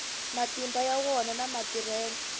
matimba ya wona na matirhelo